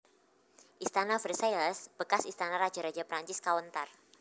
Istana Versailles bekas istana raja raja Perancis kawéntar